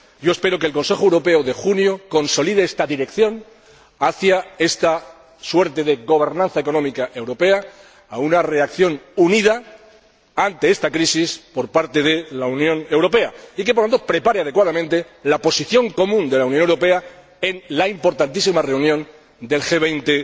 Espero que el Consejo Europeo de junio consolide esta dirección hacia esta suerte de gobernanza económica europea, hacia una reacción unida ante esta crisis por parte de la Unión Europea, y que, por lo tanto, prepare adecuadamente la posición común de la Unión Europea en la importantísima reunión del G